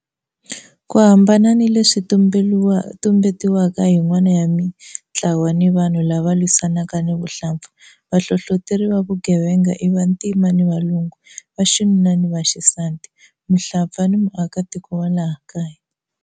Ku hambana ni leswi lumbetiwaka hi yin'wana ya mitlawa ni vanhu lava lwisanaka ni vuhlampfa, vahlohloteri va vugevenga i vantima ni valungu, vaxinuna ni vaxisati, muhlampfa ni muakatiko wa laha kaya.